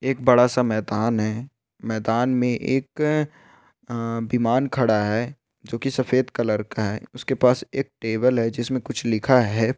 एक बड़ा सा मैदान है मैदान में एक विमान खड़ा है जोंकी सफेद कलर का है उसके पास एक टेबल है उसमें कुछ लिख है।